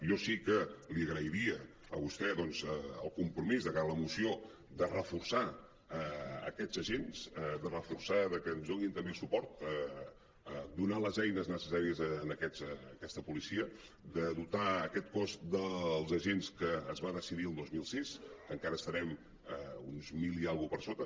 jo sí que li agrairia a vostè doncs el compromís de cara a la moció de reforçar aquests agents de reforçar que ens donin també suport do·nar les eines necessàries a aquesta policia de dotar aquest cos dels agents que es van decidir el dos mil sis que encara estarem uns mil i escaig per sota